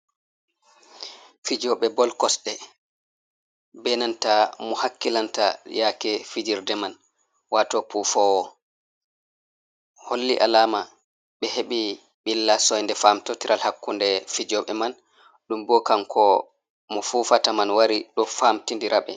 Fijoɓe bol kosde benanta mo hakkilanta yake fijerde man wato pufowo holli alama ɓe heɓi ɓilla soinde famtotiral hakkunde fijoɓe man ɗum bo kanko mo fufata man wari ɗo famtidiraɓe.